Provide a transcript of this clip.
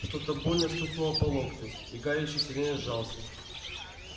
что-то больно стукнуло по локтю и гарри ещё сильнее сжался